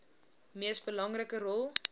mees belangrike rol